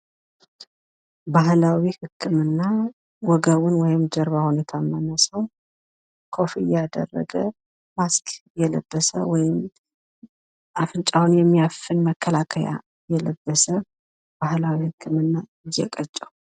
ባህላዊ ህክምና ወገቡን ወይም ጀርባውን የታመመ ሰው ኮፍያ ያደረገ ማስክ የለበሰ ወይም አፍንጫውን የሚያፍን መከላከያ የለበሰ ባህላዊ ህክምና እየቀጨ።